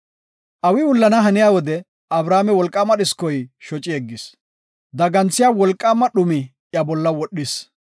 Awi wullana haniya wode Abrame wolqaama dhiskoy shoci yeggis. Daganthiya wolqaama dhumi iya bolla wodhis.